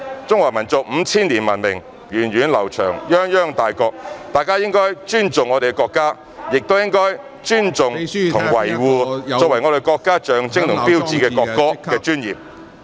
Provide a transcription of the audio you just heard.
中華民族五千年文明源遠流長，泱泱大國，大家應該尊重我們的國家，亦應該尊重和維護作為國家的象徵和標誌的國歌......